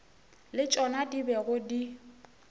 le tšona di bego di